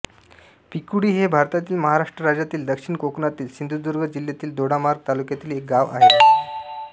पिकुळे हे भारतातील महाराष्ट्र राज्यातील दक्षिण कोकणातील सिंधुदुर्ग जिल्ह्यातील दोडामार्ग तालुक्यातील एक गाव आहे